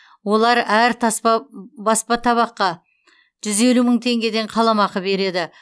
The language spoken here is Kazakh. олар әр баспа табаққа жүз елу мың теңгеден қаламақы береді